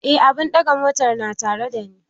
Eh, abun daga motan na tare da ni